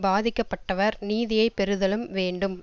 பாதிக்க பட்டவர் நீதியைப் பெறுதலும் வேண்டும்